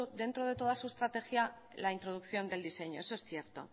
dentro de toda su estrategia la introducción del diseño eso es cierto